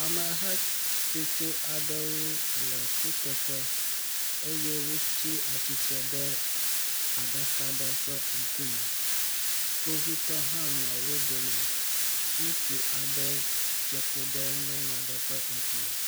Amehatsotso aɖewo le kuteƒe eye wotsi atsitre ɖe aɖaka aɖe ƒe ŋkume. Kpovitɔ hã nɔ wodome. ŋutsu aɖe dze klo ɖe nyɔnu aɖe ƒe ŋkume.